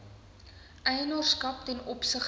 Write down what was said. eienaarskap ten opsigte